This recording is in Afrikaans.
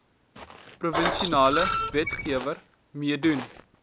provinsiale wetgewer meedoen